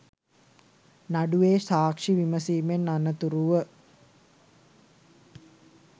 නඩුවේ සාක්ෂි විමසීමෙන් අනතුරුව